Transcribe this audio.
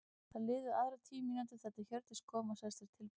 Það liðu aðrar tíu mínútur þar til Hjördís kom og sagðist vera tilbúin.